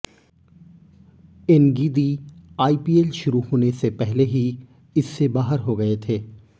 Ngidi IPL शुरू होने से पहले ही इससे बाहर हो गए थे